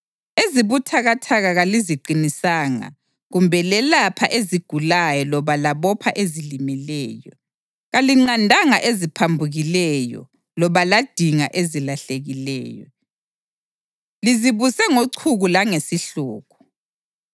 Ezibuthakathaka kaliziqinisanga kumbe lelapha ezigulayo loba labopha ezilimeleyo. Kalinqandanga eziphambukileyo loba ladinga ezilahlekileyo. Lizibuse ngochuku langesihluku.